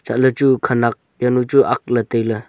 chatley chu khenak yanu chu agley tailey.